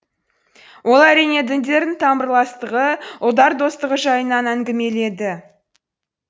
ол әрине діндердің тамырластығы ұлттар достығы жайынан әңгімеледі